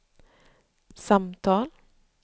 samtal